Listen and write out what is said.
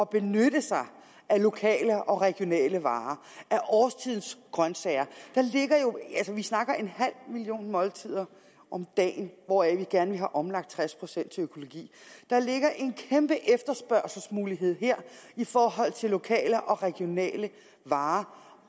benytter sig af lokale og regionale varer af årstidens grøntsager altså vi snakker om en halv million måltider om dagen hvoraf vi gerne omlagt tres procent til økologi der ligger en kæmpe efterspørgselsmulighed her i forhold til lokale og regionale varer